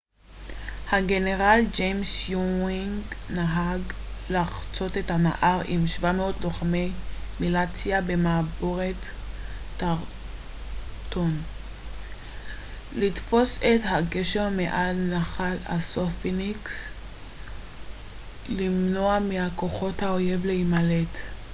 הגנרל ג'יימס יואינג נהג לחצות את הנהר עם 700 לוחמי מיליציה במעבורת טרנטון לתפוס את הגשר מעל נחל אסונפינק ולמנוע מכוחות האויב להימלט